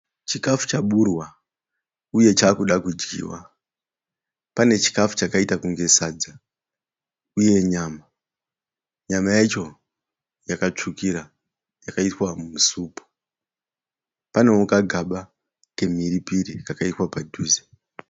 Chikafu chaburwa uye chaakuda kudyiwa. Panechikafu chakaita kunge sadza uye nyama. Nyama yacho yakatsvukira, yakaiswa musupu. Panewo kagaba kemhiripiri kakaiswa padhuze.